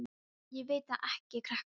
Ég veit það ekki, krakkar mínir.